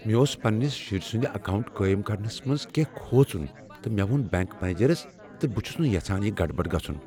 مےٚ اوس پننس شُرۍ سند اکاونٹ قٲیم کرنس منٛز کینٛہہ کھوژُن تہٕ مےٚ ووٚن بینک منیجرس ز بہٕ چھس نہٕ یژھان یہ گڑبڑ گژھن۔